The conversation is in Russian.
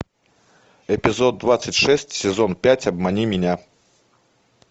эпизод двадцать шесть сезон пять обмани меня